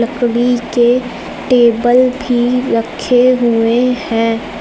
लकड़ी के टेबल भी रखे हुए हैं।